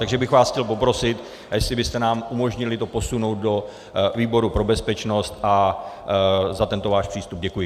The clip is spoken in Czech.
Takže bych vás chtěl poprosit, jestli byste nám umožnili posunout to do výboru pro bezpečnost, a za tento váš přístup děkuji.